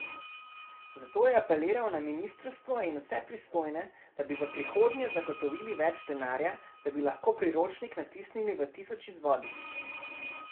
Zato je apeliral na ministrstvo in vse pristojne, da bi v prihodnje zagotovili več denarja, da bi lahko priročnik natisnili v tisoč izvodih.